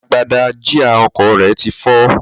Agbada jíà ọkọ̀ rẹ ti fọ́.